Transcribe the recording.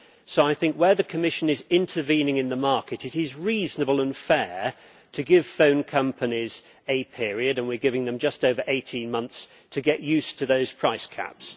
So I think that where the Commission is intervening in the market, it is reasonable and fair to give phone companies a period and we are giving them just over 18 months to get used to those price caps.